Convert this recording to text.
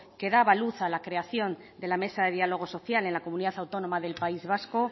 que daba luz a la creación de la mesa de diálogo social en la comunidad autónoma del país vasco